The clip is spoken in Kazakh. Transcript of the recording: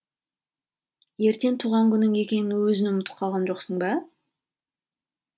ертең туған күнің екенін өзің ұмытып қалған жоқсың ба